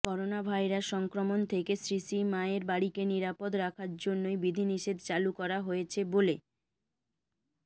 coronavirus সংক্রমণ থেকে শ্রীশ্রীমায়ের বাড়িকে নিরাপদ রাখার জন্যই বিধিনিষেধ চালু করা হয়েছে বলে